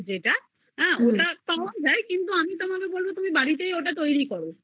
তা ওটা পাওয়া যায় কিন্তু আমি বলবো তোমাকে ওটা তুমি বাড়িতেই তৈরী